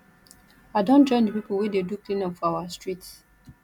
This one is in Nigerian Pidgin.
i don join di pipo wey dey do cleanup for our street